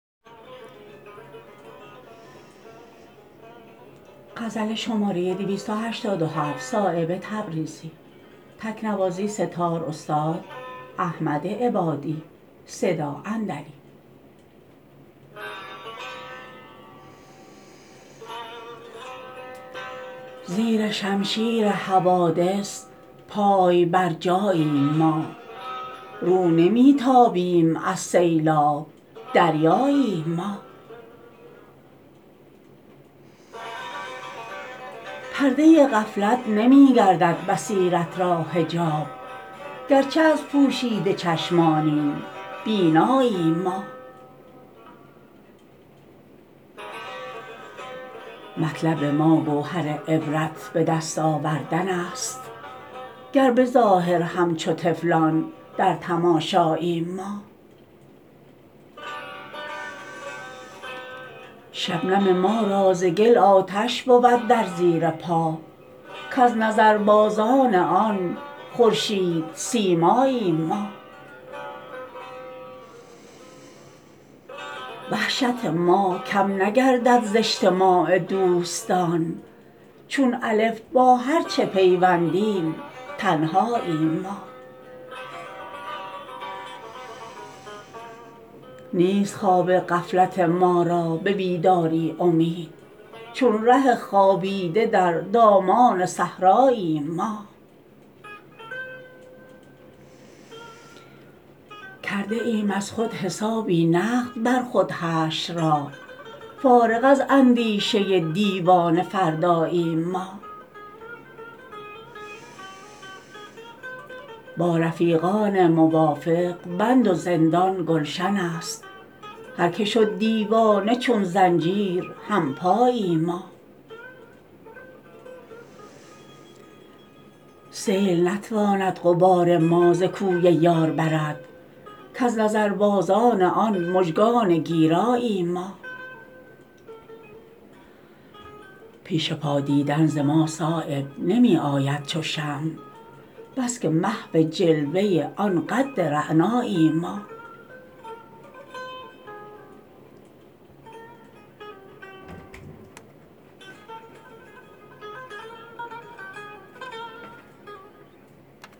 زیر شمشیر حوادث پای بر جاییم ما رو نمی تابیم از سیلاب دریاییم ما پرده غفلت نمی گردد بصیرت را حجاب گرچه از پوشیده چشمانیم بیناییم ما مطلب ما گوهر عبرت به دست آوردن است گر به ظاهر همچو طفلان در تماشاییم ما شبنم ما را ز گل آتش بود در زیر پا کز نظربازان آن خورشید سیماییم ما وحشت ما کم نگردد ز اجتماع دوستان چون الف با هر چه پیوندیم تنهاییم ما نیست خواب غفلت ما را به بیداری امید چون ره خوابیده در دامان صحراییم ما کرده ایم از خودحسابی نقد بر خود حشر را فارغ از اندیشه دیوان فرداییم ما با رفیقان موافق بند و زندان گلشن است هر که شد دیوانه چون زنجیر همپاییم ما سیل نتواند غبار ما ز کوی یار برد کز نظربندان آن مژگان گیراییم ما پیش پا دیدن ز ما صایب نمی آید چو شمع بس که محو جلوه آن قد رعناییم ما